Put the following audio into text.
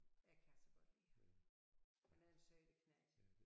Jeg kan så godt lide ham han er en sød knægt